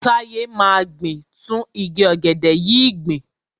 Táyé máa gbin tún igi ọ̀gẹ̀dẹ̀ yìí gbìn.